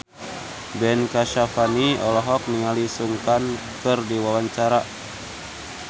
Ben Kasyafani olohok ningali Sun Kang keur diwawancara